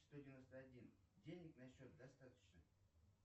сто девяносто один денег на счете достаточно